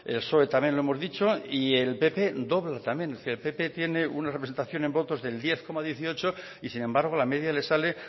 el psoe también lo hemos dicho y el pp dobla también es decir el pp tiene una representación en votos del diez coma dieciocho por ciento y sin embargo la media les sale